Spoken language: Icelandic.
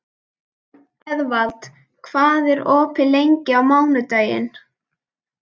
Eðvald, hvað er opið lengi á mánudaginn?